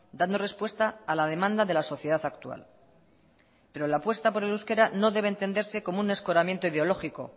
dando respuesta a la demanda de la sociedad actual pero la apuesta por el euskera no debe entenderse como un escoramiento ideológico